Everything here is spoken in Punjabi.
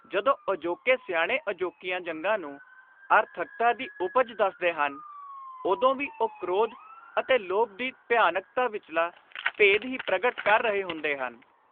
ਜਦੋਂ ਅਜੋਕੇ ਸਿਆਣੇ ਅਜੋਕੀਆਂ ਜੰਗਾਂ ਨੂੰ ਆਰਥਕਤਾ ਦੀ ਉਪਜ ਦੱਸਦੇ ਹਨ, ਉਦੋਂ ਵੀ ਉਹ ਕ੍ਰੋਧ ਅਤੇ ਲੋਭ ਦੀ ਭਿਆਨਕਤਾ ਵਿਚਲਾ ਭੇਦ ਹੀ ਪ੍ਰਗਟ ਕਰ ਰਹੇ ਹੁੰਦੇ ਹਨ।